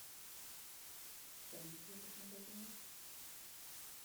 ценник в этих магазинах